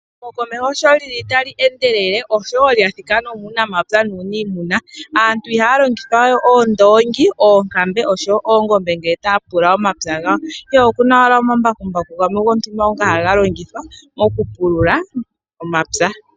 Ehumokomeho sho ta li endelele, oshowo lya thika muunamapya nuuniimuna. Aantu ihaya longitha we oondoongi, oonkambe oshowo oongombe ngele taya pulula omapya gawo, ihe oku na owala omambakumbaku gamwe gontumba ngoka haga longithwa moku pulula omapya.